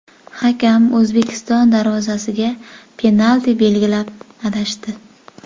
Hakam O‘zbekiston darvozasiga penalti belgilab, adashdi.